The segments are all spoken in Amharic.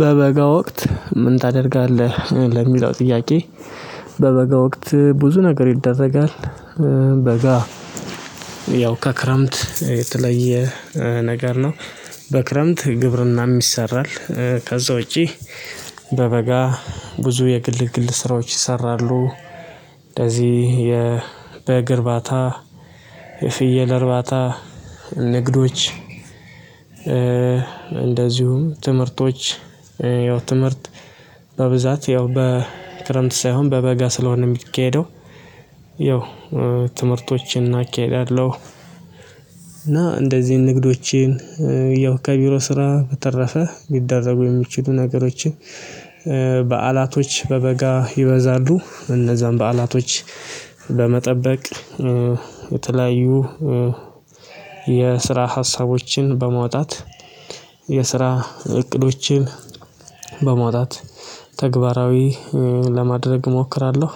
በበጋ ወቅት ምን ታደርጋለህ? ለሚለው ጥያቄ በበጋ ወቅት ብዙ ነገር ይደረጋል በጋ ያው ከክረምት የተለየ ነገር ነው በክረምት ግብርናም ይሰራል ከዛ ውጪ በበጋ ብዙ የግል ግል ስራዎች ይሰራሉ እንደዚህ የ በግ እርባታ የፍየል እርባታ ንግዶች እንደዚሁም ትምህርቶች ያው ትምህርት በብዛት ያው በክረምት ሳይሆን በበጋ ስለሆነ የሚካሄደው ያው ትምህርቶችን እናካሂዳለሁ እና እንደዚህ ንግዶቼን ያው ከቢሮ ስራ በተረፈ ሊደረጉ የሚችሉ ነገሮችን በዓላቶች በበጋ ይበዛሉ እነዛን በዓላቶች ለመጠበቅ የተለያዩ የስራ ሀሳቦችን በመውጣት የስራ እቅዶችን በማውጣት ተግባራዊ ለማድረግ እሞክራለሁ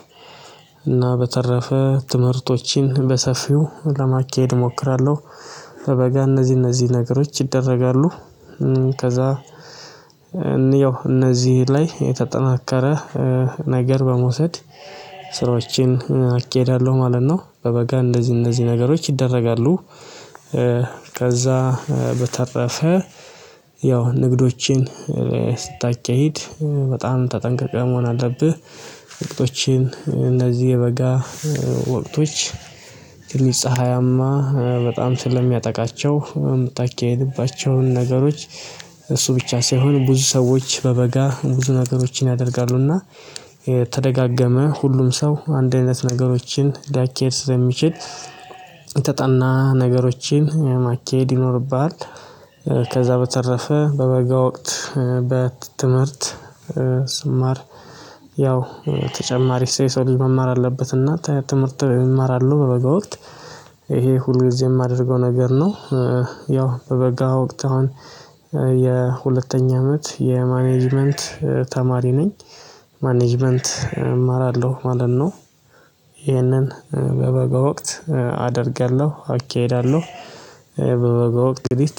እና በተረፈ ትምህርቶችን በሰፊው ለማካሄድ እሞክራለሁ በበጋ እነዚህ እነዚህ ነገሮች ይደረጋሉ ከዛ ያው እነዚህ ላይ የተጠናከረ ነገር በመውሰድ ስራዎችን አካሂዳለሁ ማለት ነው በበጋ እንደዚህ እንደዚህ ነገሮች ይደረጋሉ ከዛ በተረፈ ያው ንግዶችን ስታካሂድ በጣም ተጠንቅቀህ መሆን አለብህ ንግዶችን እንደዚህ የበጋ ወቅቶች ትልቅ ፀሀያማ በጣም ስለሚያጠቃቸው የምታካሂድባቸውን ነገሮች እሱ ብቻ ሳይሆን ብዙ ሰዎች በበጋ ብዙ ነገሮችን ያደርጋሉና ተደጋገመ ሁሉም ሰው አንድ አይነት ነገሮችን ሊያካሂድ ስለሚችል የተጠና ነገሮችን ማካሄድ ይኖርብሃል ከዛ በተረፈ በበጋ ወቅት በትምህርት ስማር ያው ተጨማሪ ስለ ሰው ልጅ መማር አለበትና ተ ትምህርት እማራለሁ በበጋ ወቅት ይሄ ሁሉ ጊዜ የማደርገው ነገር ነው ያው በበጋ ወቅት አሁን የሁለተኛ አመት የማኔጅመንት ተማሪ ነኝ ማኔጅመንት እማራለሁ ማለት ነው ይህንን በበጋ ወቅት አደርጋለሁ አካሂዳለሁ በበጎ ወቅት